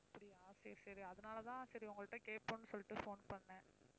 அப்படியா சரி, சரி அதனால தான் சரி உங்கள்ட்ட கேட்போம்ன்னு சொல்லிட்டு phone பண்ணேன்.